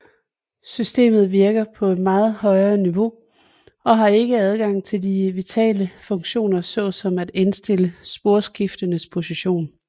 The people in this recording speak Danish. Systemet virker på et meget højt niveau og har ikke adgang til de vitale funktioner såsom at indstille sporskifternes position